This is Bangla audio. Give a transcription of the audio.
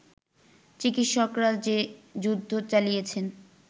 চিকিৎসকরা যে যুদ্ধ চালিয়েছেন